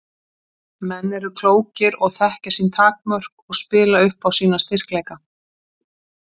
Menn eru klókir og þekkja sín takmörk og spila upp á sína styrkleika.